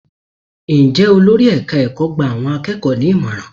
Ǹjẹ́ olórí ẹ̀ka ẹ̀kọ́ gba àwọn akẹ́kọ̀ọ́ ní ìmọ̀ràn?